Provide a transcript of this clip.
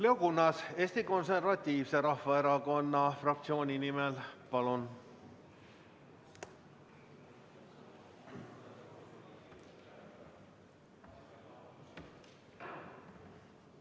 Leo Kunnas Eesti Konservatiivse Rahvaerakonna fraktsiooni nimel, palun!